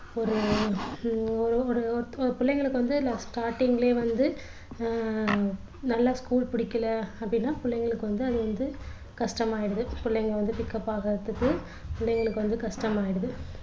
ஒரு ஹம் ஒரு ஒரு பிள்ளைங்களுக்கு வந்து starting லயே வந்து அஹ் நல்லா school புடிக்கல அப்படின்னா பிள்ளைங்களுக்கு வந்து அது வந்து கஷ்டமாயிடுது புள்ளைங்க வந்து pickup ஆகுறதற்கு பிள்ளைங்களுக்கு வந்து கஷ்டமாயிடுது